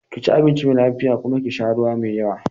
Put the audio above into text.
Ki ci abinci mai lafiya kuma ki sha ruwa mai yawa.